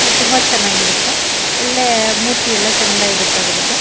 ತುಂಬಾ ಚನ್ನಾಗಿರುತ್ತೆ ಒಳ್ಳೆ ಮೂತಿಯೆಲ್ಲಾ ಚಂದ ಇರುತ್ತೆ ಅದ್ರದು.